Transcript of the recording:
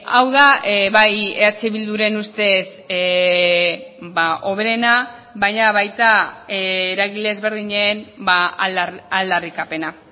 hau da bai eh bilduren ustez hoberena baina baita eragile ezberdinen aldarrikapena